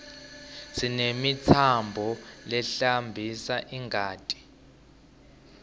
sinemitsambo lehambisa ingati